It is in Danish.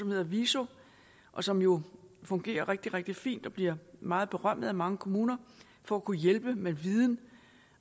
hedder viso og som jo fungerer rigtig rigtig fint og bliver meget berømmet af mange kommuner for at kunne hjælpe med viden